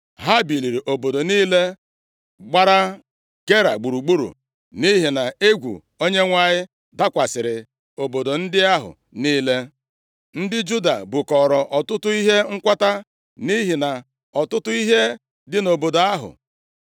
Ha bibiri obodo niile gbara Gera gburugburu, nʼihi na egwu Onyenwe anyị dakwasịrị obodo ndị ahụ niile. Ndị Juda bukọọrọ ọtụtụ ihe nkwata nʼihi na ọtụtụ ihe dị nʼobodo ndị ahụ.